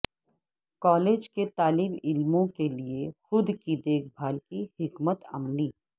college کے طالب علموں کے لئے خود کی دیکھ بھال کی حکمت عملی